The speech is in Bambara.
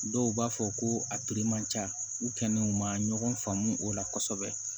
Dɔw b'a fɔ ko a man ca u kɛlen u ma ɲɔgɔn faamu o la kosɛbɛ